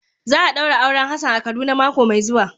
Za a daura auren Hassan a kaduna mako mai zuwa.